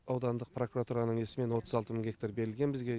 аудандық прокуратураның несімен отыз алты мың гектар берілген бізге